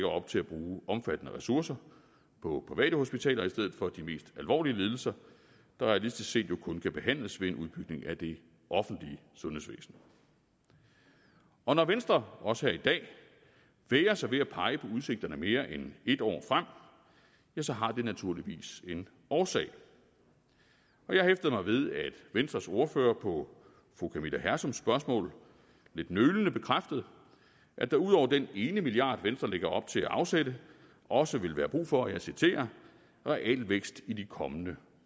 op til at bruge omfattende ressourcer på private hospitaler i stedet for de mest alvorlige lidelser der realistisk set jo kun kan behandles ved en udbygning af det offentlige sundhedsvæsen og når venstre også her i dag vægrer sig ved at pege på udsigterne mere end et år frem ja så har det naturligvis en årsag jeg hæftede mig ved at venstres ordfører på fru camilla hersoms spørgsmål lidt nølende bekræftede at der ud over den ene milliard venstre lægger op til at afsætte også vil være brug for og jeg citerer realvækst i de kommende